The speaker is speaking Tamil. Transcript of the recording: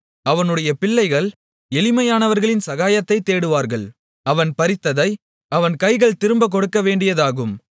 அவனுடைய பிள்ளைகள் எளிமையானவர்களின் சகாயத்தைத் தேடுவார்கள் அவன் பறித்ததை அவன் கைகள் திரும்பக் கொடுக்கவேண்டியதாகும்